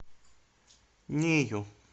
нею